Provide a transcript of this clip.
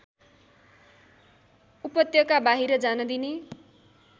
उपत्यकाबाहिर जान दिने